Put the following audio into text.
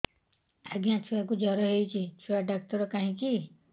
ଆଜ୍ଞା ଛୁଆକୁ ଜର ହେଇଚି ଛୁଆ ଡାକ୍ତର କାହିଁ କି